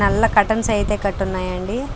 నల్ల కాటన్స్ అయితే కట్టున్నాయండి.